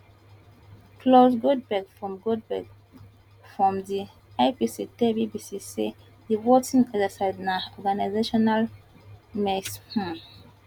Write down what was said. claus goldbeck from goldbeck from di ipc tell bbc say di voting exercise na organisational mess um